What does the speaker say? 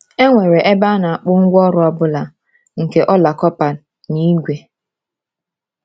E nwere ebe a na-akpụ “ngwaọrụ ọ bụla nke ọla kọpa na ígwè.”